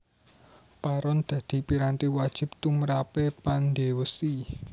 Paron dadi piranti wajib tumrape pandhe wesi